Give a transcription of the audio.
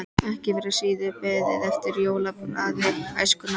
Ekki var síður beðið eftir jólablaði Æskunnar.